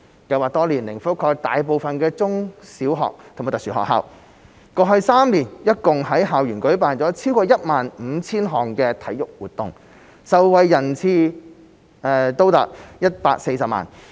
計劃多年來覆蓋大部分中、小學及特殊學校，過去3年共在校園舉辦了超過 15,000 項體育活動，受惠人次達140萬。